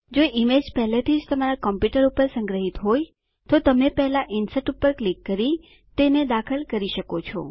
જો ઈમેજ પહેલાથીજ તમારા કોમપ્યુંટર પર સંગ્રહીત હોય તો તમે પહેલા ઇન્સર્ટ પર ક્લિક કરી તેને દાખલ કરી શકો છો